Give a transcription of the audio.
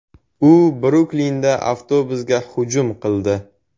U Bruklinda avtobusga hujum qildi.